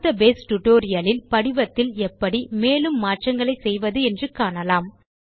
அடுத்த base tutorial இல் படிவத்தில் எப்படி மேலும் மாற்றங்களை செய்வது என்று காணலாம்